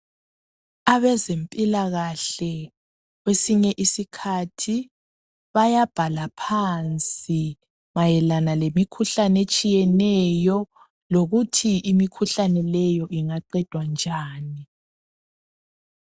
Abezempilakahle kwesinye isikhathi bayabhala phansi mayelana lemikhuhlane etshiyeneyo lokuthi imikhuhlane leyo ingaqedwa njani.